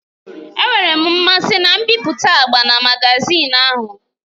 Enwere m mmasị na mbipụta agba na magazin ahụ.